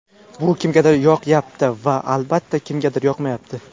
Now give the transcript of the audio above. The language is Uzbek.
Bu kimgadir yoqyapti va, albatta, kimgadir yoqmayapti.